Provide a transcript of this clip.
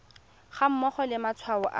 ga mmogo le matshwao a